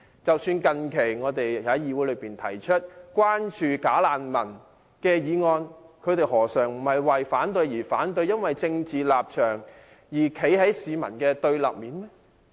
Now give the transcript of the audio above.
即使我們最近在議會提出有關"假難民"的議案，他們何嘗不是為反對而反對，不惜為了一己的政治立場而站在市民的對立面？